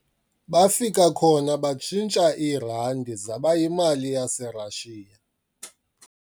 Bafika khona batshintsha iirandi zaba yimali yaseRashiya.